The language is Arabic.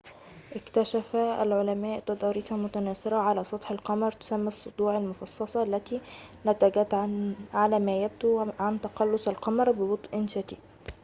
اكتشف العلماء تضاريساً متناثرة على سطح القمر تسمى الصدوع المفصّصة التي نتجت على ما يبدو عن تقلص القمر ببطء شديد